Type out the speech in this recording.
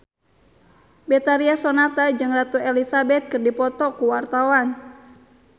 Betharia Sonata jeung Ratu Elizabeth keur dipoto ku wartawan